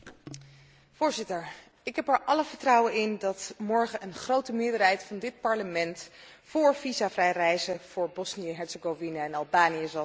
Voorzitter, ik heb er alle vertrouwen in dat morgen een grote meerderheid van dit Parlement voor visavrij reizen voor Bosnië Herzegovina en Albanië zal stemmen.